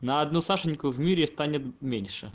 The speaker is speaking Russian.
на одну сашеньку в мире станет меньше